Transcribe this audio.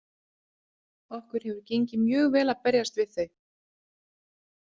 Okkur hefur gengið mjög vel að berjast við þau.